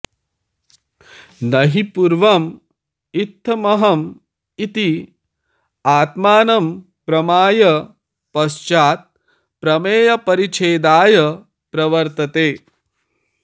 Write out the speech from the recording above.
न हि पूर्वम् इत्थमहम् इति आत्मानमप्रमाय पश्चात् प्रमेयपरिच्छेदाय प्रवर्तते